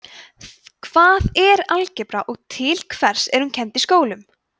hvað er algebra og til hvers er hún kennd í skólum